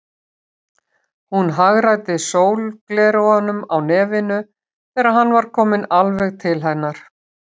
Hún hagræddi sólgleraugunum á nefinu þegar hann var kominn alveg til hennar.